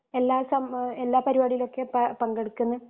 എല്ലാ സം എല്ലാ പരിപാടികളിലോക്കെ പ പങ്കെടുക്കുന്ന